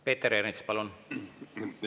Peeter Ernits, palun!